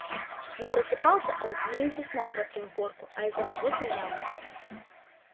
но просыпался он не из-за сна про трёхгорку а из мазутной ямы